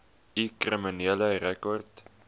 u kriminele rekord